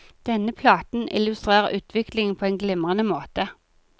Denne platen illustrerer utviklingen på en glimrende måte.